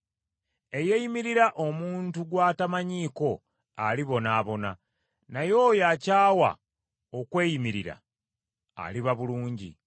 Eyeeyimirira omuntu gw’atamanyiko alibonaabona, naye oyo akyawa okweyimirira aliba bulungi.